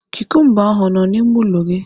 Kukumba ahụ ọ nọ n'ime ụlọ gị?